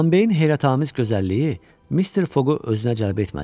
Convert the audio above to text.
Bambeyin heyrətamiz gözəlliyi Mister Foqqu özünə cəlb etmədi.